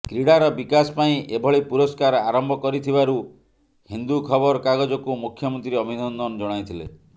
କ୍ରୀଡାର ବିକାଶ ପାଇଁ ଏଭଳି ପୁରସ୍କାର ଆରମ୍ଭ କରିଥିବାରୁ ହିନ୍ଦୁ ଖବର କାଗଜକୁ ମୁଖ୍ୟମନ୍ତ୍ରୀ ଅଭିନନ୍ଦନ ଜଣାଇଥିଲେ